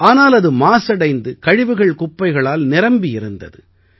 ஆனால் அது மாசடைந்து கழிவுகள்குப்பைகளால் நிரம்பி இருந்தது